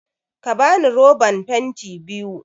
Ka bani roban fenti biyu!